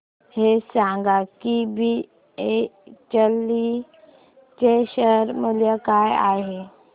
हे सांगा की बीएचईएल चे शेअर मूल्य काय आहे